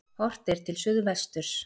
Horft er til suðvesturs.